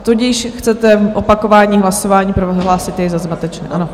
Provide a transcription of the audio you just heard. Tudíž chcete opakování hlasování, prohlásit je za zmatečné, ano?